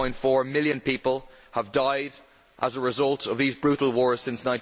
5.4 million people have died as a result of these brutal wars since